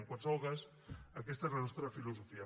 en qualsevol cas aquesta és la nostra filosofia